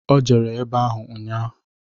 O jere ebe ahụ ụnnya.